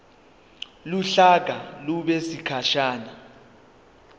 uhlaka lube sekhasini